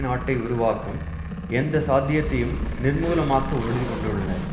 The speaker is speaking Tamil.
நாட்டை உருவாக்கும் எந்த சாத்தியத்தையும் நிர்மூலமாக்க உறுதிகொண்டுள்ளனர்